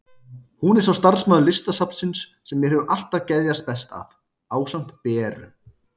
Hún er sá starfsmaður Listasafnsins sem mér hefur alltaf geðjast best að, ásamt Beru.